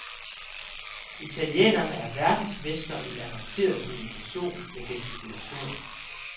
Italienerne er verdensmestre i avanceret kommunikation med gestikulationer.